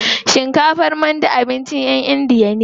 Shinkafar mandi abincin ƴan indiya ne.